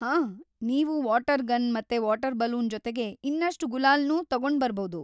ಹಾಂ, ನೀವು water gun ಮತ್ತೆ ವಾಟರ್‌ ಬಲೂನ್‌ ಜೊತೆಗೆ ಇನ್ನಷ್ಟು ಗುಲಾಲ್‌ನೂ ತಗೊಂಡ್ಬರ್ಬೌದು.